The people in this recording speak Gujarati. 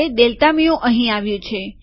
ડેલ્ટા મ્યુ અહીં આવ્યું છે